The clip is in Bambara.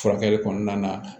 Furakɛli kɔnɔna na